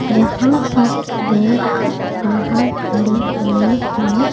जहां पर लोग बाहर खड़े हुए हैं।